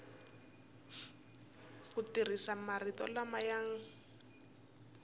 ku tirhisa marito lama ya